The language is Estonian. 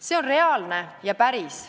See on reaalne ja päris.